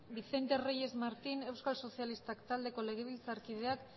vicente reyes martín euskal sozialistak taldeko legebiltzarkideak